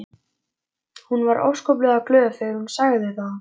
Hún var óskaplega glöð þegar hún sagði það.